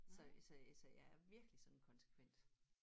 Så øh så øh så jeg er virkelig sådan konsekvent